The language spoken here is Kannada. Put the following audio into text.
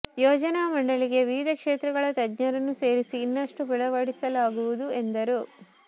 ಯೋಜನಾ ಮಂಡಳಿಗೆ ವಿವಿಧ ಕ್ಷೇತ್ರಗಳ ತಜ್ಞರನ್ನು ಸೇರಿಸಿ ಇನ್ನಷ್ಟು ಬಲಪಡಿಸಲಾಗುವುದು ಎಂದರು